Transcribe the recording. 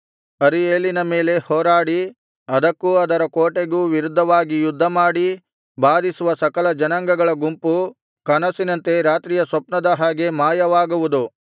ಅರೀಯೇಲಿನ ಮೇಲೆ ಹೋರಾಡಿ ಅದಕ್ಕೂ ಅದರ ಕೋಟೆಗೂ ವಿರುದ್ಧವಾಗಿ ಯುದ್ಧಮಾಡಿ ಬಾಧಿಸುವ ಸಕಲ ಜನಾಂಗಗಳ ಗುಂಪು ಕನಸಿನಂತೆ ರಾತ್ರಿಯ ಸ್ವಪ್ನದ ಹಾಗೆ ಮಾಯವಾಗುವುದು